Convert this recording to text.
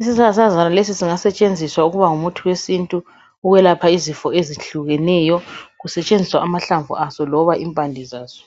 Isihlahlakazana lesi singasetshenziswa ukuba ngumuthi wesintuukwelapha izifo ezitshiyeneyo kusetshenziswa amahlamvu aso loba impande zaso.